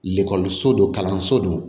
so don kalanso don